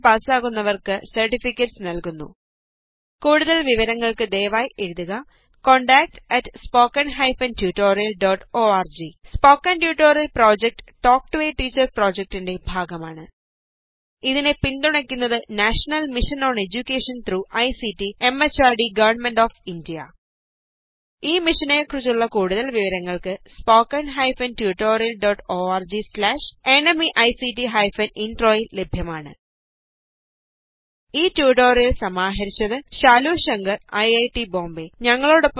online test പാസാകുന്നവര്ക്ക് സര്ട്ടിഫിക്കറ്റുകള് നല്കുന്നു കൂടുതല് വിവരങ്ങള്ക്ക് ദയവായി എഴുതുക contactspoken tutorialorg spoken tutorial project talk to a teacher പ്രോജക്ടിന്റെ ഭാഗമാണ് ഇതിനെ പിന്തുണക്കുന്നത് national mission on education through ICT MHRD government of India ഈ മിഷനെ കുറിച്ചുള്ള കൂടുതല് വിവരങ്ങള് spoken hyphen tutorial dot org slash NMEICT hyphen intro യില് ലഭ്യമാണ് ഈ ട്യൂട്ടോറിയൽ സമാഹരിച്ചത് ശാലു ശങ്കർ ഐറ്റ് ബോംബേ